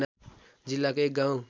जिल्लाको एक गाउँ